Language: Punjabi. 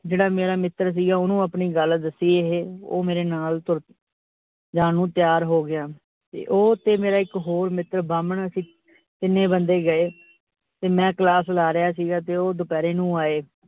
ਜਿਹੜਾ ਮੇਰਾ ਮਿੱਤਰ ਸੀਗਾ ਓਹਨੂੰ ਆਪਣੀ ਗੱਲ ਦੱਸੀ ਏਹ। ਉਹ ਮੇਰੇ ਨਾਲ ਤੁਰ ਜਾਣ ਨੂੰ ਤਿਆਰ ਹੋ ਗਿਆ ਤੇ ਉਹ ਤੇ ਮੇਰਾ ਇਕ ਹੋਰ ਮਿੱਤਰ ਬਾਹਮਣ ਅਸੀਂ ਤਿੰਨੇ ਬੰਦੇ ਗਏ ਤੇ ਮੈ class ਲੈ ਰਿਹਾ ਸੀ, ਤੇ ਉਹ ਦੁਪਹਿਰੇ ਨੂੰ ਆਏ ।